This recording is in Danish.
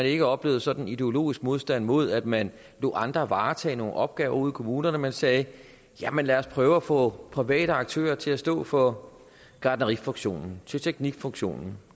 ikke oplevede sådan en ideologisk modstand mod at man lod andre varetage nogle opgaver ude i kommunerne men sagde lad os prøve at få private aktører til at stå for gartnerifunktionen teknikfunktionen